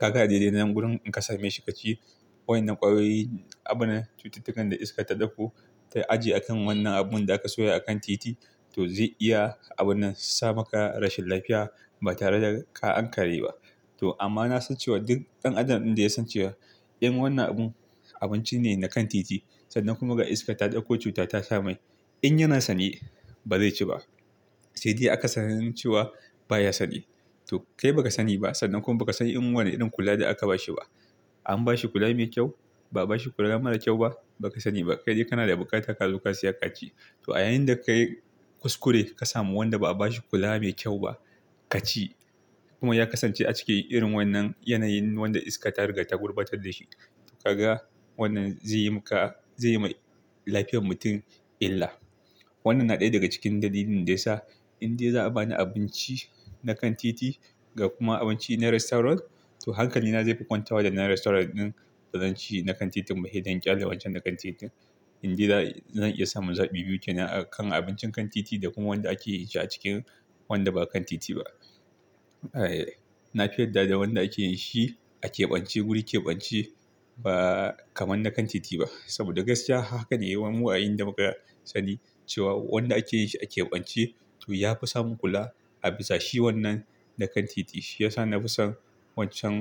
Ka ga a dai dai nan wurin in ka same shi ka ci. Waɗannan ƙwayoyi, abun nan cututtukan da iskar ta ɗauko ta ajiye a kan wannan abun da aka soya a kan titi. To zai iya abun nan sa maka rashin lafiya ba tare da ka ankare ba. To amma na san cewa duk ɗan adam ɗin da ya san cewa in wannan abun abinci ne na kan titi sannan kuma ga iska ta ɗauko cuta ta sa mai. In yana sane ba zai ci ba. Sai dai akasarin cewa baya sane. To kai baka sani ba, sannan bakasan wane irin kula aka bashi ba. An bashi kula mai kyau, ba'a bashi kula mai kyau ba. Baka sani ba. Kai dai kana da buƙata ka zo ka siya ka ci. To a yayin da ka yi kuskure ka samu wanda ba'a bashi kula mai kyau ba ka ci. Kuma ya kasance a ciki irin wannan yanayin wanda iska ta riga ta gurɓatar da shi. Kaga wannan zaiyi maka, zaiyima lafiyar mutum illa. Wannan na ɗaya daga cikin dalilin da ya sa in dai za'a bani abinci na kan titi ga kuma abinci na restaurant to hankalina zai fi kwanta wa dannan restaurant ɗin da zan ci na kan titin ba. He dai in ƙyale wancan na kan titin. In dai zan iya samun zaɓi biyu kenan, a kan abincin kan titi da kuma wanda ake yin shi a cikin wanda ba kan titi ba. Eeh, na fi yarda da wanda ake yin shi a keɓance wuri keɓance ba kaman na kan titi ba. Saboda gaskiya haka da yawa mu a inda muka sani cewa wanda ake yin shi a keɓance to ya fi samun kula a bisa shi wannan na kan titi. Shi ya sa na fi son wancan.